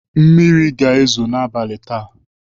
Mmiri ga-ezo n'abalị taa.